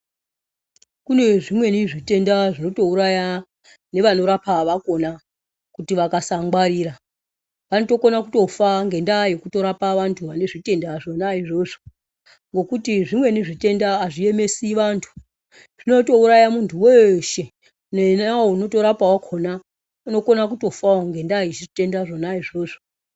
Kune zvimweni zvitenda zvinoto uraya nevano rapa vakona kuti vakasa ngwarira vanotokona kutofa ngenda ye kutorapa vantu vane zvitenda zvona izvozvo ngekuti zvimweni zvitenda azvi emesi vantu zvinoto uraya muntu weshe kunyanya iye anoto rapa wakona anogona kutofa ne nyaya ye zvitenda zvona izvozvo.